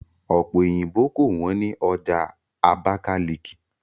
Ọ̀pe òyìnbó kò wọ́n ní ọjà Abakaliki